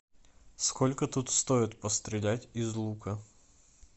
сколько тут стоит пострелять из лука